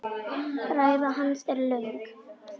Ræða hans er löng.